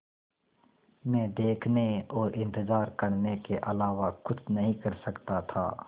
मैं देखने और इन्तज़ार करने के अलावा कुछ नहीं कर सकता था